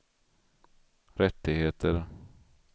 rättigheter